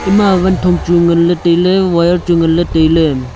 yama vanthok chu nganlay tailay wire chu nganlay tailay.